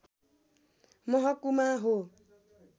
महकुमा हो